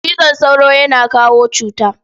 Cizon sauro yana kawo cuta.